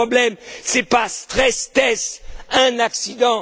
Et le problème, ce n'est pas stress test un accident.